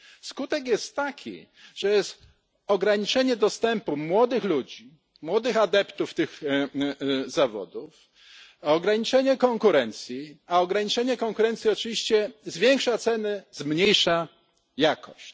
Skutek jest taki, że jest ograniczenie dostępu młodych ludzi, młodych adeptów do tych zawodów, ograniczenie konkurencji, a ograniczenie konkurencji oczywiście zwiększa ceny, zmniejsza jakość.